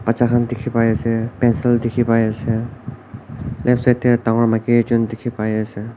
bacha khan dikhi pai ase pencil dikhi pai ase left side de dangor maiki ekjun dikhi pai ase.